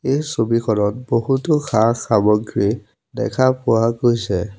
এই ছবিখনত বহুতো সা-সামগ্ৰী দেখা পোৱা গৈছে।